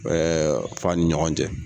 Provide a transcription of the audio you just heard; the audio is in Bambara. fa ni ɲɔgɔn cɛ.